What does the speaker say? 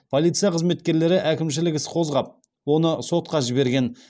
полиция қызметкерлері әкімшілік іс қозғап оны сотқа жіберген